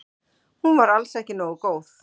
Hún var alls ekki nógu góð.